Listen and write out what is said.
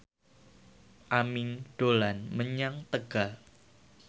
Aming dolan menyang Tegal